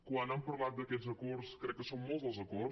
quan han parlat d’aquests acords crec que són molts els acords